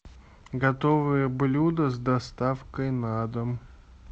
готовые блюда с доставкой на дом